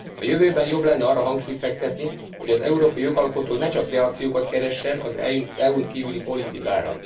A jövőben jobb lenne arra hangsúlyt fektetni, hogy az európai jogalkotó ne csak reakciókat keressen az EU n kívüli politikára.